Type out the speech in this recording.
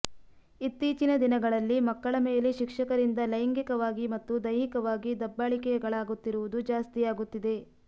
ಇತ್ತೀಚಿನ ದಿನಗಳಲ್ಲಿ ಮಕ್ಕಳ ಮೇಲೆ ಶಿಕ್ಷಕರಿಂದ ಲೈಂಗಿಕವಾಗಿ ಮತ್ತು ದೈಹಿಕವಾಗಿ ದಬ್ಬಾಳಿಕೆಗಳಾಗುತ್ತಿರುವುದು ಜಾಸ್ತಿಯಾಗುತ್ತಿದೆ